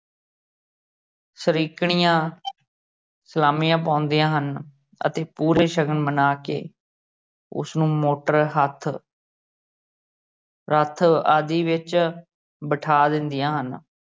ਸਰੀਕਣੀਆਂ ਸਲਾਮੀਆ ਪਾਉਂਦੀਆਂ ਹਨ ਅਤੇ ਪੂਰੇ ਸ਼ਗਨ ਮਨ੍ਹਾ ਕੇ ਉਸਨੂੰ ਮੋਟਰ, ਰੱਥ ਰੱਥ ਆਦਿ ਵਿਚ ਬਿਠਾ ਦਿੰਦੀਆਂ ਹਨ।